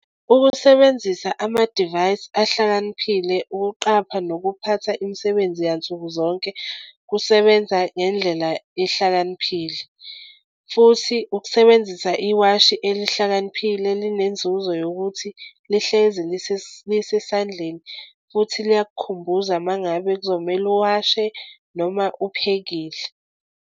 Ukusebenzisa amadivayisi ahlakaniphile ukuqapha nokuphatha imisebenzi yansukuzonke kusebenza ngendlela ehlakaniphile. Futhi ukusebenzisa iwashi elihlakaniphile elinenzuzo yokuthi lihlezi lisesandleni futhi liyakukhumbuza uma ngabe kuzomele uwashe noma uphekile.